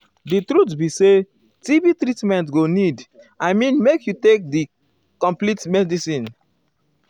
di truth be saytb treatment go need i mean make you take di complete medicine.